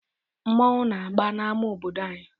Mmọnwụ na-agba n'ámá obodo anyị.